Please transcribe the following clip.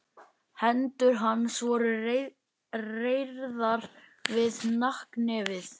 Hendur hans voru reyrðar við hnakknefið.